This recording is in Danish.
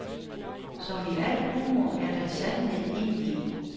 Som i al humor er der sandhed indeni.